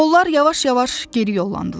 Onlar yavaş-yavaş geri yollandılar.